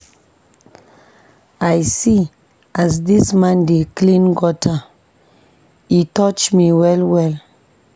I see as dis man dey clean gutter, e touch me well-well.